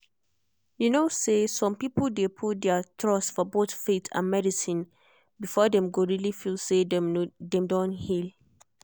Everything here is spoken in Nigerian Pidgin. you know say some people dey put their trust for both faith and medicine before dem go really feel say dem don heal.